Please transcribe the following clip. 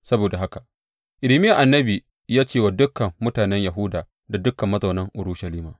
Saboda haka Irmiya annabi ya ce wa dukan mutanen Yahuda da dukan mazaunan Urushalima.